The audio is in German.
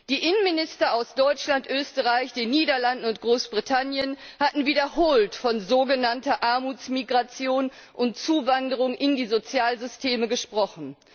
Die Innenminister aus Deutschland, Österreich, den Niederlanden und Großbritannien hatten wiederholt von sogenannter Armutsmigration und Zuwanderung in die Sozialsysteme gesprochen.